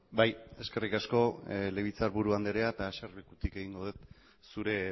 bai eskerrik asko legebiltzarburu andrea eta eserlekutik egingo dut zure